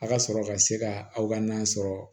A ka sɔrɔ ka se ka aw ka nan sɔrɔ